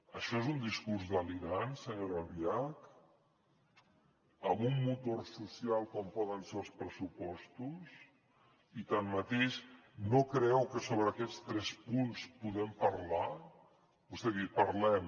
això és un discurs delirant senyora albiach amb un motor social com poden ser els pressupostos i tanmateix no creu que sobre aquests tres punts podem parlar vostè ha dit parlem